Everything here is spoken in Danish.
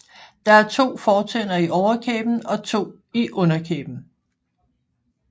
Der er to fortænder i overkæben og to i underkæben